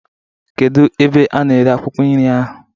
Kedu ebe a na-ere akwụkwọ nri ahụ?